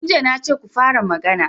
Tun jiya na ce ku fara magana.